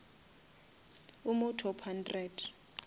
o mo top hundred